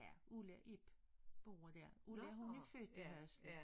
Ja Ulla og Ib bor dér. Ulla hun er født i Halse